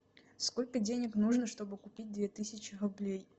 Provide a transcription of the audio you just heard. сколько денег нужно чтобы купить две тысячи рублей